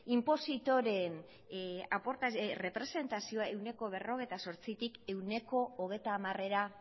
inpositoreen errepresentazioa ehuneko berrogeita zortzitik ehuneko hogeita hamarera